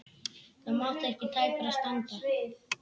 Það mátti ekki tæpara standa.